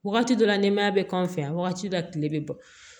Wagati dɔ la nɛmaya bɛ k'an fɛ yan wagati dɔ tile bɛ bɔ